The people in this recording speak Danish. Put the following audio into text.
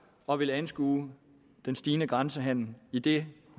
og vil anskue den stigende grænsehandel i det